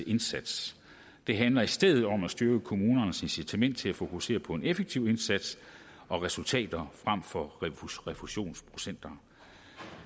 indsats det handler i stedet om at styrke kommunernes incitament til at fokusere på en effektiv indsats og resultater frem for refusionsprocenter